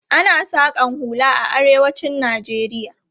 Ana saƙan hula a arewacin Najeriya.